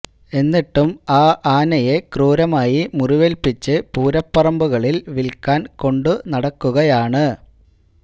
എന്നിട്ടും ആ ആനയെ ക്രൂരമായി മുറിവേല്പിച്ച് പൂരപ്പറമ്പുകളിൽ വിൽക്കാൻ കൊണ്ടു നടക്കുകയാണ്